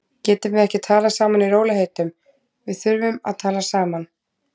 Getum við ekki talað saman í rólegheitum. við þurfum að tala saman.